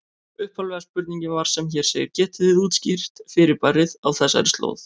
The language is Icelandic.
Upphaflega spurningin var sem hér segir: Getið þið útskýrt fyrirbærið á þessari slóð?